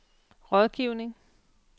rådgivning